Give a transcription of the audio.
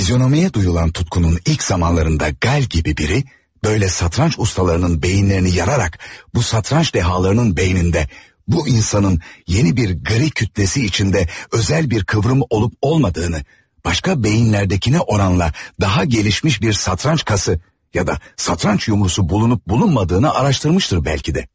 Fizyonomiyaya duyulan tutkunun ilk zamanlarında Qal kimi biri, böyle satranç ustalarının beyinlerini yararak, bu satranç dehalarının beynində, bu insanın yeni bir qəri kütlesi içinde özel bir kıvrım olup olmadığını, başka beyinlerdekinə oranla daha gelişmiş bir satranç kası ya da satranç yumrusu bulunup bulunmadığını araştırmıştır belki də.